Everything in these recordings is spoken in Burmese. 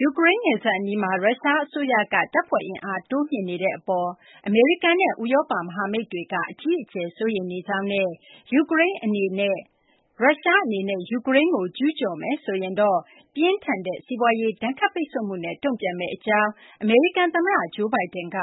ယူကရိန်းနယ်စပ်အနီးမှာ ရုရှားအစိုးရက တပ်ဖွဲ့အင်အား တိုးမြှင့်နေတဲ့အပေါ် အမေရိကန်နဲ့ ဥရောပ မဟာမိတ်တွေက အကြီးအကျယ် စိုးရိမ်နေကြောင်းနဲ့ ရုရှားအနေနဲ့ ယူကရိန်းကို ကျူးကျော်မယ်ဆိုရင်တော့ ပြင်းထန်တဲ့ စီးပွားရေး ဒဏ်ခတ်ပိတ်ဆို့မှုနဲ့ တုံ့ပြန်မယ့်အကြောင်း အမေရိကန်သမ္မတ Joe Biden က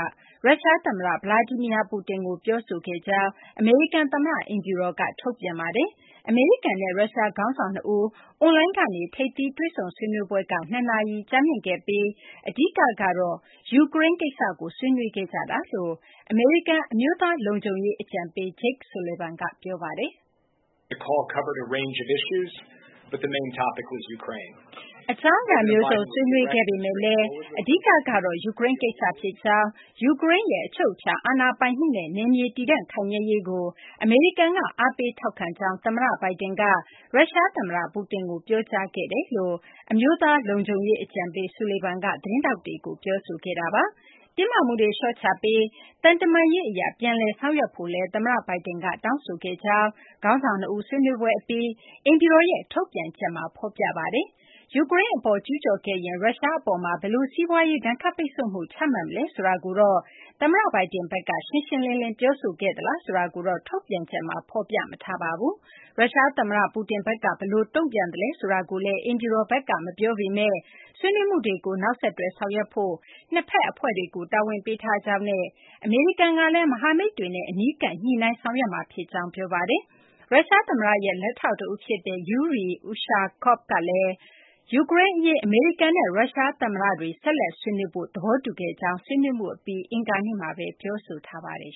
ရုရှားသမ္မတ Vladimir Putin ကို ပြောဆိုခဲ့တယ်လို့ အမေရိကန်သမ္မတ အိမ်ဖြူတော်က ထုတ်ပြန်ထားပါတယ်။ အမေရိကန်နဲ့ ရုရှား ခေါင်းဆောင် ၂ ဦး အွန်လိုင်းကနေ ထိပ်သီး တွေ့ဆုံဆွေးနွေးပွဲက ၂ နာရီ ကြာမြင့်ခဲ့ပြီး အဓိကတော့ ယူကရိန်းကိစ္စကို ဆွေးနွေးခဲ့ကြောင်း အမေရိကန် အမျိုးသားလုံခြုံရေး အကြံပေး Jake Sullivan က ပြောပါတယ်။ “အကြောင်းအရာမျိုးစုံ ဆွေးနွေးခဲ့ပေမယ့်လည်း အဓိကကတော့ ယူကရိန်းကိစ္စ ဖြစ်ကြောင်း၊ ယူကရိန်းရဲ့ အချုပ်အခြာ အာဏာပိုင်မှုနဲ့ နယ်မြေတည်တံ့ ခိုင်မြဲရေးကို အမေရိကန်က အားပေးထောက်ခံကြောင်း သမ္မတ Biden က ရုရှားသမ္မတ Putin ကို ပြောကြားခဲ့ကြောင်း” အမေရိကန် အမျိုးသားလုံခြုံရေး အကြံပေး Sullivan က သတင်းထောက်တွေကို ပြောဆိုခဲ့တာပါ။ တင်းမာမှုတွေ လျှော့ချပြီး သံတမန်ရေးအရ ပြန်လည်ဆောင်ရွက်ဖို့လည်း သမ္မတ Biden က တောင်းဆိုခဲ့ကြောင်းလည်း ခေါင်းဆောင် ၂ ဦး ဆွေးနွေးပွဲအပြီး အိမ်ဖြူတော်ရဲ့ ထုတ်ပြန်ချက်မှာ ဖော်ပြထားပါတယ်။ ယူကရိန်းအပေါ် ကျူးကျော်ခဲ့ရင် ရုရှားအပေါ် ဘယ်လို စီးပွားရေး ဒဏ်ခတ်ပိတ်ဆို့မှု ချမှတ်မလဲ ဆိုတာကို သမ္မတ Biden ဘက်က ရှင်းရှင်းလင်းလင်း ပြောဆိုခဲ့သလား ဆိုတာကိုတော့ ထုတ်ပြန်ချက်မှာ ဖော်ပြမထားပါဘူး။ ရုရှားသမ္မတ Putin ဘက်က ဘယ်လိုတုံ့ပြန်သလဲ ဆိုတာကို အိမ်ဖြူတော်ဘက်က မပြောပေမယ့် ဆွေးနွေးမှုတွေကို နောက်ဆက်တွဲ ဆောင်ရွက်ဖို့ နှစ်ဖက်အဖွဲ့တွေကို တာဝန်ပေးထားကြောင်းနဲ့ အမေရိကန်ကလည်း မဟာမိတ်တွေနဲ့ အနီးကပ် ညှိနှိုင်းဆောင်ရွက်မှာဖြစ်ကြောင်း ပြောပါတယ်။ ရုရှားသမ္မတရဲ့ လက်ထောက်တဦးဖြစ်တဲ့ Yuri Ushakov ကတော့ ယူကရိန်းအရေး အမေရိကန်နဲ့ ရုရှားသမ္မတတွေ ဆက်လက်ဆွေးနွေးဖို့ သဘောတူခဲ့ကြကြောင်း ဆွေးနွေးမှုအပြီး အင်္ဂါနေ့မှာပဲ ပြောဆိုထားပါတယ်